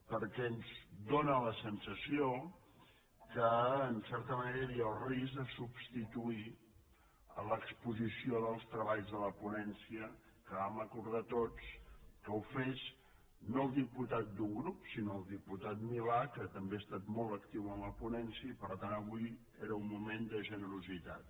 perquè ens fa la sensació que en certa manera hi havia el risc de substituir l’exposició dels treballs de la ponència que vam acordar tots que ho fes no el diputat d’un grup sinó el diputat milà que també ha estat molt actiu en la ponència i per tant avui era un moment de generositat